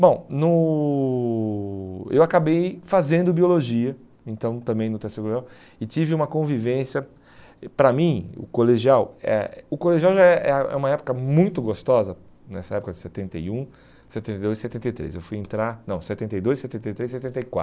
Bom no, eu acabei fazendo biologia, então também no teste, e tive uma convivência, e para mim, o colegial, eh o colegial já é é ah é uma época muito gostosa, nessa época de setenta e um, setenta e dois e setenta e três, eu fui entrar, não, setenta e dois, setenta e três e setenta e